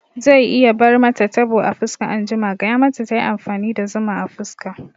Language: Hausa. Zai iya bar mata tabo a fuska anjima, gaya mata tayi amfani da zuma a fuska fa